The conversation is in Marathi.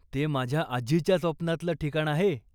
ते माझ्या आजीच्या स्वप्नातलं ठिकाण आहे.